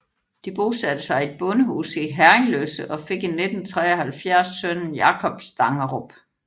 De bosatte sig i et bondehus i Herringløse og fik i 1973 sønnen Jacob Stangerup